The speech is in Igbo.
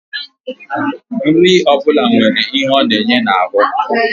Nri ọ bụla nwere ihe ọ na-enye n'ahụ